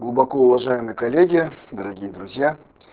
глубокоуважаемые коллеги дорогие друзья